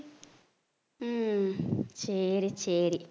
உம் சரி சரி